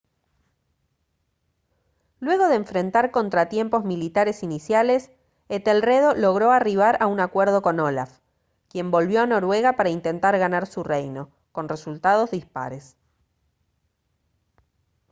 luego de enfrentar contratiempos militares iniciales etelredo logró arribar a un acuerdo con olaf quien volvió a noruega para intentar ganar su reino con resultados dispares